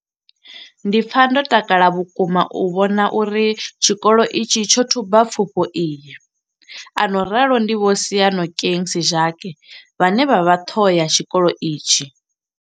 Ndi pfa ndo takala vhukuma u vhona uri tshikolo itshi tsho thuba pfufho iyi a no ralo ndi Vho Seyanokeng Sejake vhane vha vha ṱhoho ya tshikolo itshi tsha